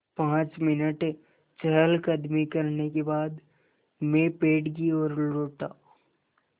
पाँच मिनट चहलकदमी करने के बाद मैं पेड़ की ओर लौटा